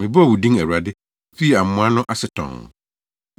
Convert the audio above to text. Mebɔɔ wo din, Awurade fii amoa no ase tɔnn.